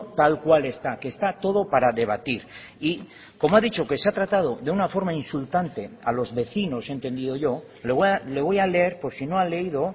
tal cual está que está todo para debatir y como ha dicho que se ha tratado de una forma insultante a los vecinos he entendido yo le voy a leer por si no ha leído